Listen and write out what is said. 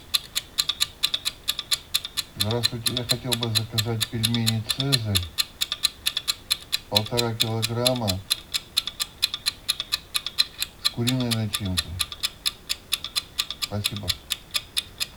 здравствуйте я хотел бы заказать пельмени цезарь полтора килограмма с куриной начинкой спасибо